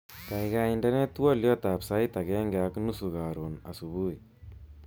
Kaikai indenee twoliotab sait agenge ak nusu karon subui